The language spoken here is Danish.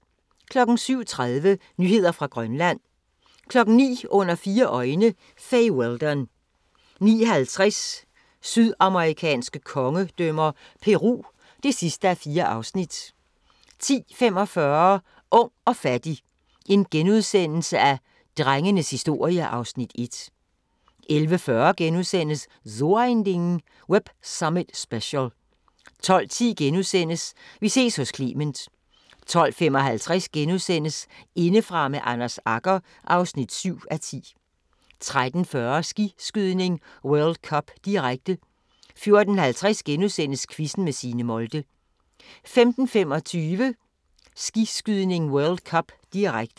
07:30: Nyheder fra Grønland 09:00: Under fire øjne – Fay Weldon 09:50: Sydamerikanske kongedømmer – Peru (4:4) 10:45: Ung og fattig - drengenes historie (Afs. 1)* 11:40: So ein Ding: Web Summit Special * 12:10: Vi ses hos Clement * 12:55: Indefra med Anders Agger (7:10)* 13:40: Skiskydning: World Cup, direkte 14:50: Quizzen med Signe Molde * 15:25: Skiskydning: World Cup, direkte